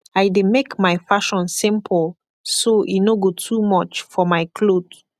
i dey make mai fashion simpol so e no go too much for mai kloth